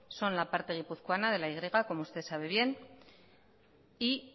son la parte guipuzcoana de la y vasca como usted sabe bien y